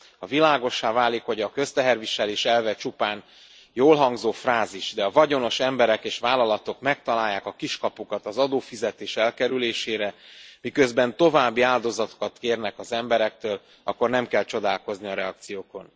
Ha világossá válik, hogy a közteherviselés elve csupán jól hangzó frázis, de a vagyonos emberek és vállalatok megtalálják a kiskapukat az adófizetés elkerülésére, miközben további áldozatokat kérnek az emberektől, akkor nem kell csodálkozni a reakciókon.